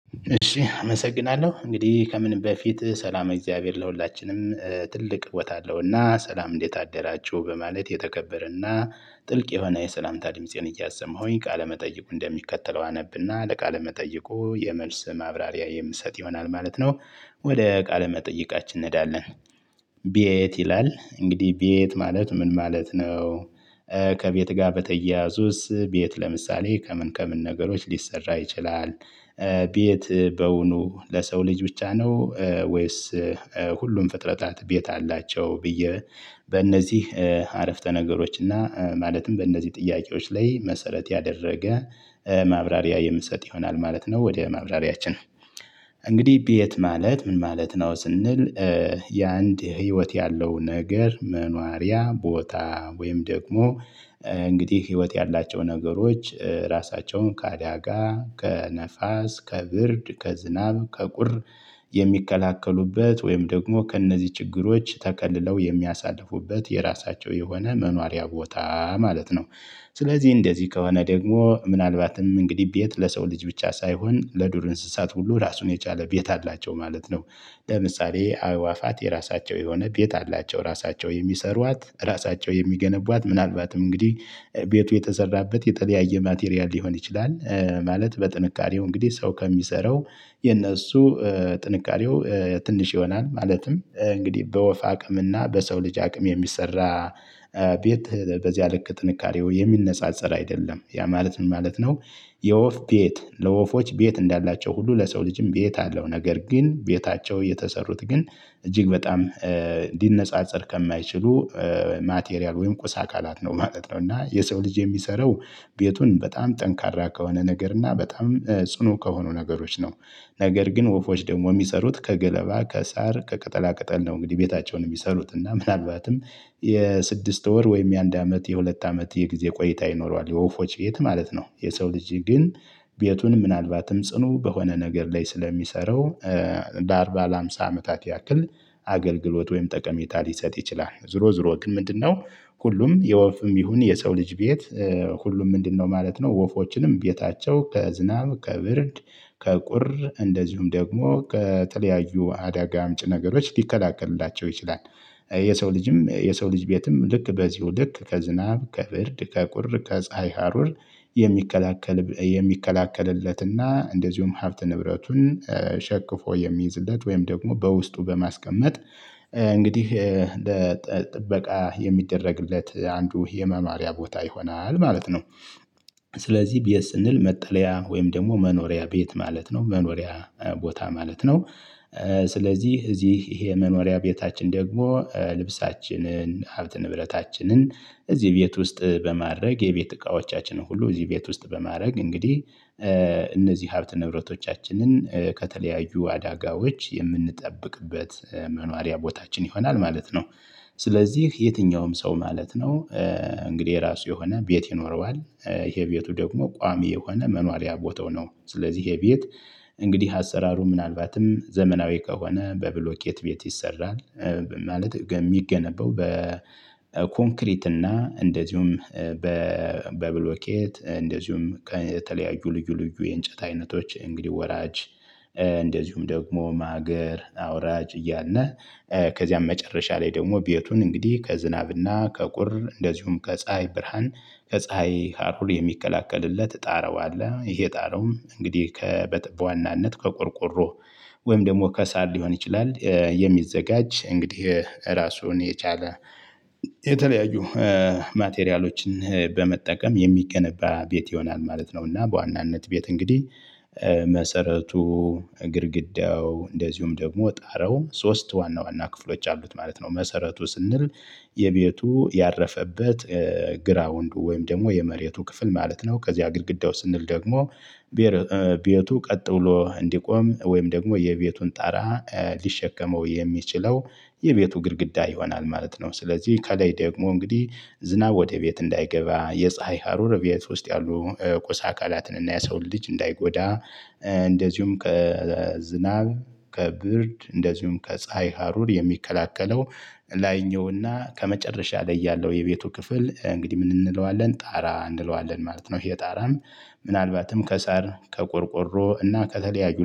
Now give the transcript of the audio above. እሺ አመሰግናለሁ እንግዲህ ከምን በፊት ሰላም እግዚአብሔር ለሁላችንም ትልቅ ቦታ አለውና ሰላም እንዴት አደራችሁ በማለት የተከበረና ጥልቅ የሆነ የሰላም ድምፄን እያሰማሁኝ ቃለመጠይቁ እንደሚከተለው አነብና ለቃለ መጠይቁ የመልስ ማብራሪያ የምሰጥ ይሆናል ማለት ነው። ወደ ቃለ መጠይቃችን እንሄዳለን። ቤት ይላል እንግዲህ ቤት ማለት ምን ማለት ነው? ከቤት ጋር በተያያዙስ ቤት ለምሳሌ ከምን ከምን ነገሮች ሊሰራ ይችላል። ቤት በውኑ ለሰው ልጅ ብቻ ነው ወይስ? ሁሉም ፍጥረታት ቤት አላቸው ብዬ በእነዚህ አረፍተ ነገሮች እና ማለትም በእነዚህ ጥያቄዎች ላይ መሰረት ያደረገ ማብራሪያ የምሰጥ ይሆናል ማለት ነው። ወደ ማብራሪያችን እንግዲህ ቤት ማለት ምን ማለት ነው? ስንል የአንድ ህይወት ያለው ነገር መኗሪያ ቦታ ወይም ደግሞ እንግዲህ ህይወት ያላቸው ነገሮች ራሳቸውን ከአዳጋ ከነፋስ ከብርድ ከዝናብ ከቁር የሚከላከሉበት ወይም ደግሞ ከእነዚህ ችግሮች ተከልለው የሚያሳልፉበት የራሳቸው የሆነ መኖሪያ ቦታ ማለት ነው። ስለዚህ እንደዚህ ከሆነ ደግሞ ምናልባትም እንግዲህ ቤት ለሰው ልጅ ብቻ ሳይሆን ለዱር እንስሳት ሁሉ ራሱን የቻለ ቤት አላቸው ማለት ነው። ለምሳሌ አዕዋፋት የራሳቸው የሆነ ቤት አላቸው ራሳቸው የሚሰሯት ራሳቸው የሚገነቧት ምናልባትም እንግዲህ ቤቱ የተሰራበት የተለያየ ማቴሪያል ሊሆን ይችላል። ማለት በጥንቃሬው እንግዲህ ሰው ከሚሰራው የነሱ ጥንካሬው ትንሽ ይሆናል ማለትም እንግዲህ በወፍ አቅም እና በሰው ልጅ አቅም የሚሰራ። ቤት በዚያ ልክ ጥንካሬው የሚነጻጸር አይደለም ያ ማለት ምን ማለት ነው? የወፍ ቤት ለወፎች ቤት እንዳላቸው ሁሉ ለሰው ልጅም ቤት አለው ነገር ግን ቤታቸው የተሰሩት ግን እጅግ በጣም እንዲነጻጸር ከማይችሉ ማቴሪያል ወይም ቁሳ አካላት ነው ማለት ነው። እና የሰው ልጅ የሚሰራው ቤቱን በጣም ጠንካራ ከሆነ ነገር እና በጣም ጽኑ ከሆኑ ነገሮች ነው። ነገር ግን ወፎች ደግሞ የሚሰሩት ከገለባ ከሳር ከቅጠላ ቅጠል ነው እንግዲህ ቤታቸውን የሚሰሩት እና ምናልባትም የስድስት ወር ወይም የአንድ አመት የሁለት አመት የጊዜ ቆይታ ይኖረዋል የወፎች ቤት ማለት ነው። የሰው ልጅ ግን ቤቱን ምናልባትም ጽኑ በሆነ ነገር ላይ ስለሚሰራው ለአርባ ለሃምሳ አመታት ያክል አገልግሎት ወይም ጠቀሜታ ሊሰጥ ይችላል። ዝሮ ዝሮ ግን ምንድነው? ሁሉም የወፍም ይሁን የሰው ልጅ ቤት? ሁሉም ምንድነው ማለት ነው ወፎችንም ቤታቸው ከዝናብ ከብርድ ከቁር እንደዚሁም ደግሞ ከተለያዩ አዳጋ አምጭ ነገሮች ሊከላከልላቸው ይችላል። የሰው ልጅም የሰው ልጅ ቤትም ልክ በዚሁ ልክ ከዝናብ ከብርድ ከቁር ከፀሀይ ሀሩር የሚከላከል የሚከላከልለትና እንደዚሁም ሀብት ንብረቱን ሸክፎ የሚይዝለት ወይም ደግሞ በውስጡ በማስቀመጥ እንግዲህ ለጥበቃ የሚደረግለት አንዱ የመማሪያ ቦታ ይሆናል ማለት ነው። ስለዚህ ቤት ስንል መጠለያ ወይም ደግሞ መኖሪያ ቤት ማለት ነው መኖሪያ ቦታ ማለት ነው። ስለዚህ እዚህ ይሄ የመኖሪያ ቤታችን ደግሞ ልብሳችንን ሀብት ንብረታችንን እዚህ ቤት ውስጥ በማድረግ የቤት እቃዎቻችንን ሁሉ እዚህ ቤት ውስጥ በማድረግ እንግዲህ እነዚህ ሀብት ንብረቶቻችንን ከተለያዩ አዳጋዎች የምንጠብቅበት መኖሪያ ቦታችን ይሆናል ማለት ነው። ስለዚህ የትኛውም ሰው ማለት ነው። እንግዲህ የራሱ የሆነ ቤት ይኖረዋል። የቤቱ ደግሞ ቋሚ የሆነ መኗሪያ ቦታው ነው። ስለዚህ የቤት እንግዲህ አሰራሩ ምናልባትም ዘመናዊ ከሆነ በብሎኬት ቤት ይሰራል። ማለት የሚገነበው በኮንክሪት እና እንደዚሁም በብሎኬት እንደዚሁም ከተለያዩ ልዩ ልዩ የእንጨት አይነቶች እንግዲህ ወራጅ እንደዚሁም ደግሞ ማገር አውራጅ እያለ ከዚያም መጨረሻ ላይ ደግሞ ቤቱን እንግዲህ ከዝናብና ከቁር እንደዚሁም ከፀሀይ ብርሃን። ከፀሀይ ሀሩር የሚከላከልለት ጣራው አለ ይሄ ጣረውም እንግዲህ ከ በዋናነት ከቆርቆሮ ወይም ደግሞ ከሳር ሊሆን ይችላል። የሚዘጋጅ እንግዲህ ራሱን የቻለ የተለያዩ ማቴሪያሎችን በመጠቀም የሚገነባ ቤት ይሆናል ማለት ነው። እና በዋናነት ቤት እንግዲህ መሰረቱ ግድግዳው እንደዚሁም ደግሞ ጣረው ሶስት ዋና ዋና ክፍሎች አሉት ማለት ነው። መሰረቱ ስንል የቤቱ ያረፈበት ግራውንዱ ወይም ደግሞ የመሬቱ ክፍል ማለት ነው። ከዚያ ግድግዳው ስንል ደግሞ ቤቱ ቀጥ ብሎ እንዲቆም ወይም ደግሞ የቤቱን ጣራ ሊሸከመው የሚችለው የቤቱ ግድግዳ ይሆናል ማለት ነው። ስለዚህ ከላይ ደግሞ እንግዲህ ዝናብ ወደ ቤት እንዳይገባ የፀሀይ ሀሩር ቤት ውስጥ ያሉ ቁሳ አካላትን እና የሰውን ልጅ እንዳይጎዳ። እንደዚሁም ከዝናብ ከብርድ እንደዚሁም ከፀሀይ ሀሩር የሚከለከለው ላይኛውና ከመጨረሻ ላይ ያለው የቤቱ ክፍል እንግዲህ ምን እንለዋለን ጣራ እንለዋለን ማለት ነው። ይሄ ጣራም ምናልባትም ከሳር ከቆርቆሮ እና ከተለያዩ